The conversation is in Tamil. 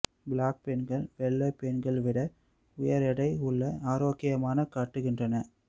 பிளாக் பெண்கள் வெள்ளை பெண்கள் விட உயர் எடை உள்ள ஆரோக்கியமான காட்டுகின்றன